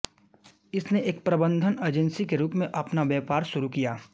इसने एक प्रबंधन एजेंसी के रूप में अपना व्यापार शुरु किया